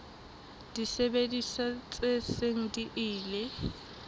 disebediswa tse seng di ile